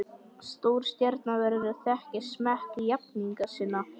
Stórstjarna verður að þekkja smekk jafningja sinna.